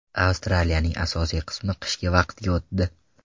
Avstraliyaning asosiy qismi qishki vaqtga o‘tdi.